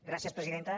gràcies presidenta